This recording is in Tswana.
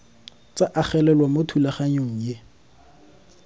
tsa agelelwa mo thulaganyong e